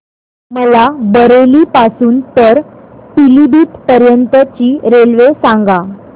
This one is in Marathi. मला बरेली पासून तर पीलीभीत पर्यंत ची रेल्वे सांगा